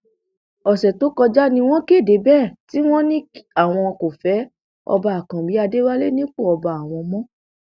ọsẹ tó kọjá ni wọn kéde bẹẹ tí wọn ní àwọn kò fẹ ọba àkànbí adéwálé nípò ọba àwọn mọ